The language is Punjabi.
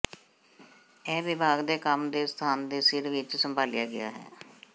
ਇਹ ਵਿਭਾਗ ਦੇ ਕੰਮ ਦੇ ਸਥਾਨ ਦੇ ਸਿਰ ਵਿੱਚ ਸੰਭਾਲਿਆ ਗਿਆ ਹੈ